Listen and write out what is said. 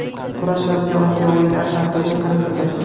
Kurash yozgi Osiyo o‘yinlari dasturiga kiritildi.